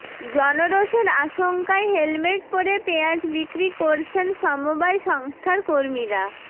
জনরোষের আশঙ্কায় হেলমেট পরে পেঁয়াজ বিক্রি করছেন সমবায় সংস্থার কর্মীরা